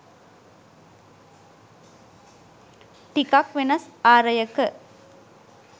ටිකක් වෙනස් ආරයක